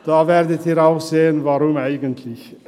Sie werden auch sehen, warum eigentlich.